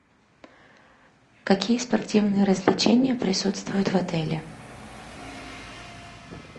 какие спортивные развлечения присутствуют в отеле